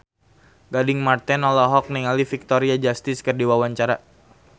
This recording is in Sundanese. Gading Marten olohok ningali Victoria Justice keur diwawancara